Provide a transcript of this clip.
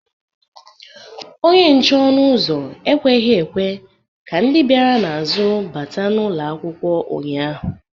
Onye nche ọnụ ụzọ ekweghị ekwe ka ndị bịara n’azụ bata n’ụlọ akwụkwọ ụnyahụ